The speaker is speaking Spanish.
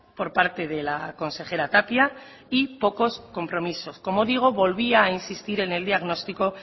por parte de la consejera tapia y pocos compromisos como digo volvía a insistir en el diagnóstico